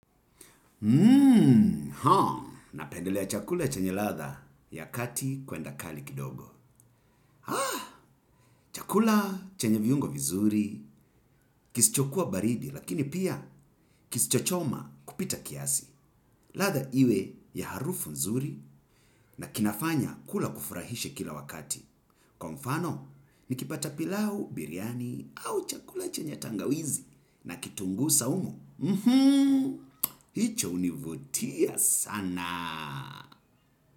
Hmm, ha, napendelea chakula chenye ladha ya kati kwenda kali kidogo. Ah, chakula chenye viungo vizuri, kisichokuwa baridi, lakini pia kisicho choma kupita kiasi. Ladha iwe ya harufu nzuri na kinafanya kula kufurahishe kila wakati. Kwa mfano, nikipata pilau biriyani au chakula chenye tangawizi na kitungu saumu. Mhmm, hicho hunivutia sana.